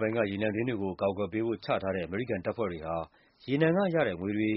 ပိုင်းက ရေနံတွင်းကို အကာအကွယ်ပေးဖို့ ချထားတဲ့ အမေရိကန်တပ်ဖွဲ့တွေဟာ ရေနံကရတဲ့ငွေတွေ